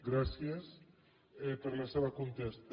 gràcies per la seva contesta